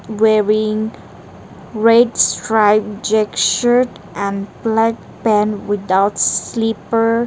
wearing red striped jeck shirt and black pant without slipper.